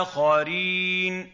آخَرِينَ